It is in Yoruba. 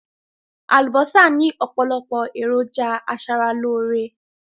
Àlùbọ́sà ni opolopo eroja asaraloore